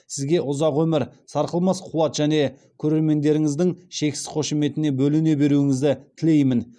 сізге ұзақ өмір сарқылмас қуат және көрермендерініздің шексіз қошеметіне бөлене беруіңізді тілеймін